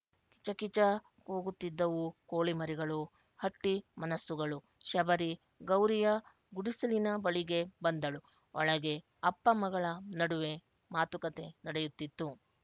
ಕಿಚಕಿಚ ಕೂಗುತ್ತಿದ್ದವು ಕೋಳಿಮರಿಗಳುಹಟ್ಟಿ ಮನಸ್ಸುಗಳು ಶಬರಿ ಗೌರಿಯ ಗುಡಿಸಲಿನ ಬಳಿಗೆ ಬಂದಳು ಒಳಗೆ ಅಪ್ಪಮಗಳ ನಡುವೆ ಮಾತುಕತೆ ನಡೆಯುತ್ತಿತ್ತು